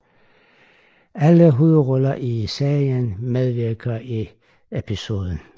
Alle hovedroller i serien medvirker i episoden